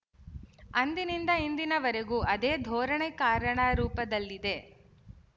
ಅಂದಿನಿಂದ ಇಂದಿನವರೆಗೂ ಅದೇ ಧೋರಣೆ ಕಾರ್ಯಣರೂಪದಲ್ಲಿದೆ